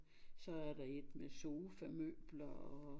Så er der et med sofamøbler og